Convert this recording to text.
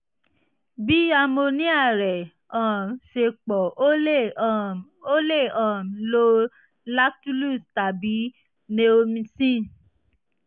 bí amonia rẹ um ṣe pọ̀ o lè um o lè um lo lactulose tàbí neomycin